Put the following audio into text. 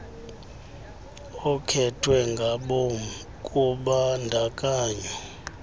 okhethwe ngabom kubandakanyo